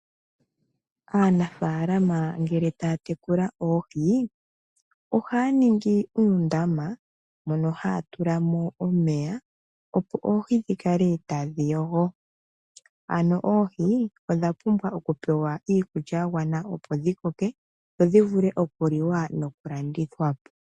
Aanafaalama ngele taya tekula oohi, ohaya ningi uundama mono haya tula mo omeya, opo oohi dhi kale tadhi yogo. Oohi odha pumbwa okupewa iikulya ya gwana, opo dhi koke dho dhi vule okuliwa nokulandithwa po.